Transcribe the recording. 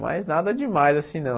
Mas nada demais assim, não.